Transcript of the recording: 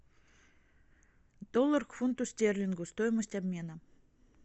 доллар к фунту стерлингу стоимость обмена